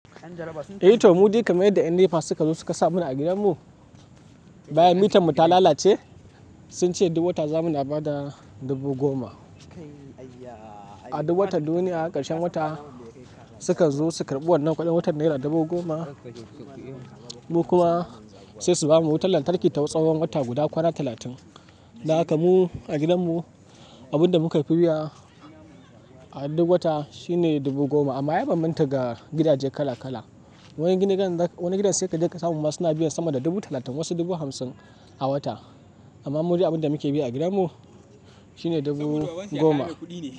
Eh to, mu dai kamar yadda NEPA suka zo suka sa mana a gidanmu, bayan mitar mu ta lalace sun ce duk wata za mu na ba da dubu goma. A duk wata, duniya a ƙarshen wata suka zo su karɓi wannan kuɗin wata naira dubu goma mu kuma sai su bamu wutar lantarki ta tsawon wata guda kwana talatin. Dahakamu a gidanmu abun da muke biya a duk wata shine dubu goma amma ya bambanta ga gidaje kala kala. Wani gidan sai kaje kasamu ma suna biyan sama da dubu talatin wasu dubu hamsim a wata. Anma mudai abin damuke biya a gidan mu dubu goma.